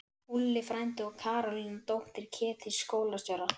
Úlli frændi og Karólína, dóttir Ketils skólastjóra!